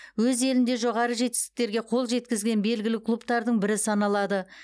өз елінде жоғары жетістіктерге қол жеткізген белгілі клубтардың бірі саналады